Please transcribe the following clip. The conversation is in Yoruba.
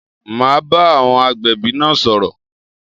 Ma bá àwọn agbẹ̀bí náà sọ̀rọ̀